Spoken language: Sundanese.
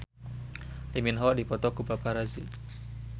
Lee Min Ho dipoto ku paparazi